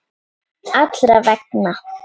Allra vegna.